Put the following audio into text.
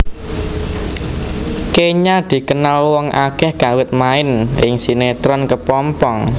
Kènya dikenal wong akèh kawit main ing sinétron Kepompong